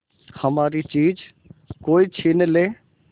हमारी चीज कोई छीन ले